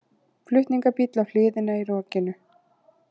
Flutningabíll á hliðina í rokinu